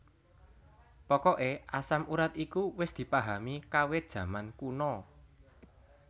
Pokoke asam urat iku wis dipahami kawit jaman kuna